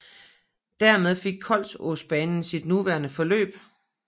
Dermed fik Kolsåsbanen sit nuværende forløb